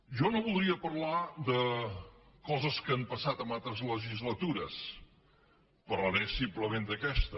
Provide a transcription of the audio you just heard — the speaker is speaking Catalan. jo no voldria parlar de coses que han passat en altres legislatures parlaré simplement d’aquesta